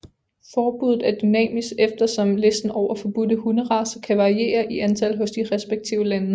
Forbuddet er dynamisk eftersom listen over forbudte hunderacer kan variere i antal hos de respektive lande